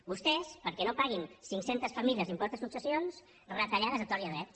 vostès perquè no paguin cinccentes famílies l’impost de successions retallades a tort i a dret